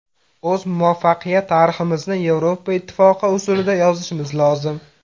O‘z muvaffaqiyat tariximizni Yevropa Ittifoqi usulida yozishimiz lozim.